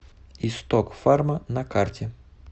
исток фарма на карте